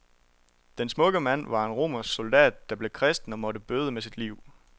Den smukke mand var en romersk soldat, der blev kristen og måtte bøde med sit liv.